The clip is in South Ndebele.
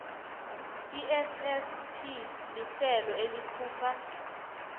issp lihlelo elikhupha